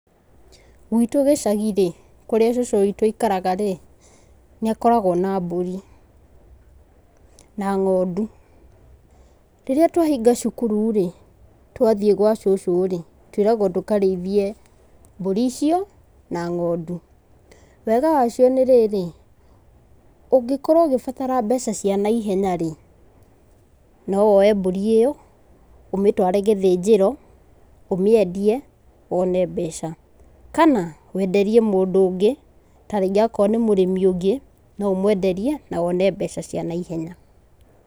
Gwitũ gĩcagi-rĩ, kũrĩa cucu witu aikaraga-rĩ, nĩ akoragwo na mbũri, na ngondu. Rĩrĩa twahinga cukuru-rĩ, twathiĩ gwa cucu-rĩ, twĩragwo tũkarĩithie mbũri icio, na ngondu. Wega wa cio nĩ rĩrĩ, ũngĩkorwo ũgĩbatara mbeca cia na ihenya-rĩ, no woe mbũri ĩyo, ũmĩtware gĩthinjĩro, ũmĩendie, wone mbeca. Kana, wenderie mũndũ ũngĩ, tarĩngĩ akorwo nĩ mũrĩmi ũngĩ no ũmwenderie, na wone mbeca cia naihenya.